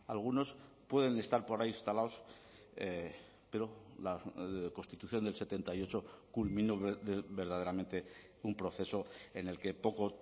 algunos pueden estar por ahí instalados pero la constitución del setenta y ocho culminó verdaderamente un proceso en el que poco